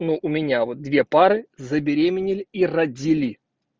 но у меня вот две пары забеременели и родили